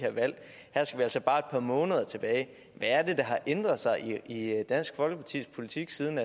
altså bare et par måneder tilbage hvad er det der har ændret sig i dansk folkepartis politik siden